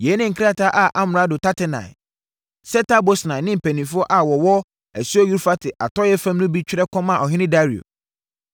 Yei ne krataa a amrado Tatenai, Setar-Bosnai ne mpanimfoɔ a wɔwɔ asuo Eufrate atɔeɛ fam no bi twerɛ kɔmaa ɔhene Dario: